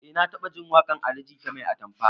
Eh na taɓajin waƙar ali jita ta 'mai atamfa'